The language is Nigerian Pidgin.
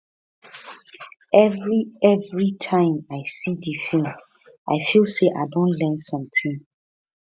every every time i see di film i feel say i don learn something